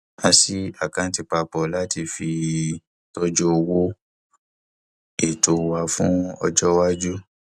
a ṣí àkáǹtì papọ láti fi tọjú owó ètò wa fún ọjọ iwájú